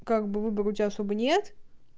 как бы выбора у тебя особо нет